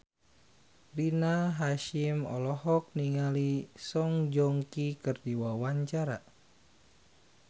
Rina Hasyim olohok ningali Song Joong Ki keur diwawancara